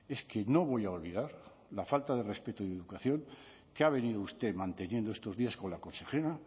es que no voy a olvidar la falta de respeto y de educación que ha venido usted manteniendo estos días con la consejera